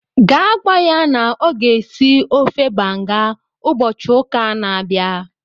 Gaa gwa ya na ọ ga-esi ofe banga ụbọchị ụka a na-abịa